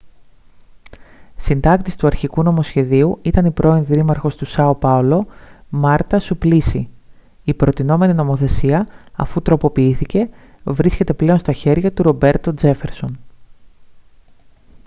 συντάκτης του αρχικού νομοσχεδίου ήταν η πρώην δήμαρχος του σάο πάολο μάρτα σουπλίσι η προτεινόμενη νομοθεσία αφού τροποποιήθηκε βρίσκεται πλέον στα χέρια του ρομπέρτο τζέφερσον